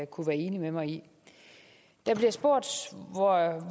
kunne være enig med mig i der bliver spurgt